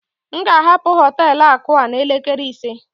M ga-ahapụ họtelu akụ a n'elekere ise